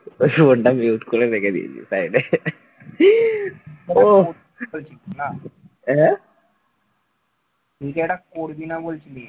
তুই যে একটা করবি না বলছিলি,